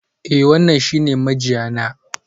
Eh, wannan shi ne mijiya na.